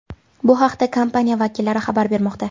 Bu haqda kompaniya vakillari xabar bermoqda .